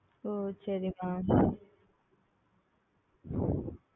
ஓ சரி Mam